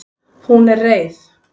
Hún er reið.